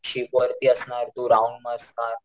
ship वरती असणार तू राहून असणार,